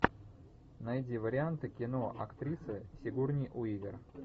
найди варианты кино актриса сигурни уивер